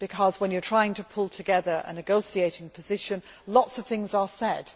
When you are trying to pull together a negotiating position, lots of things are said.